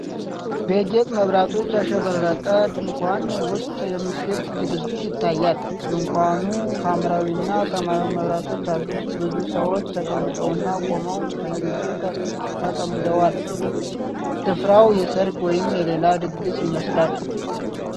በጌጥ መብራቶች ያሸበረቀ ድንኳን ውስጥ የምሽት ዝግጅት ይታያል:: ድንኳኑ ሐምራዊና ሰማያዊ መብራቶች አሉት:: ብዙ ሰዎች ተቀምጠውና ቆመው በንግግር ተጠምደዋል:: ስፍራው የሠርግ ወይም የሌላ ድግስ ይመስላል::